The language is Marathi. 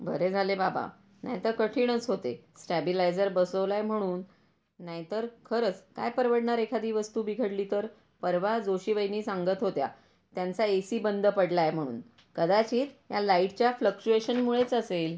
बरे झाले बाबा नाही तर कठीणच होते स्टॅबिलायझर बसवला आहे म्हणून नाही तर खरंच काय परवडणार एखादी वस्तू बिघडली तर पर्वा जोशी वहिनी सांगत होत्या त्यांचा ए सी बंद पडला आहे म्हणून. कदाचित या लाईट चा फ्लक्चुएशन मुळेच असेल.